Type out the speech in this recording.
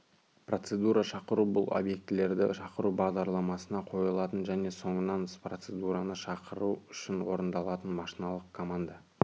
процедураны шақыру бұл объектілерді шақыру бағдарламасына қойылатын және соңынан процедураны шақыру үшін орындалатын машиналық команда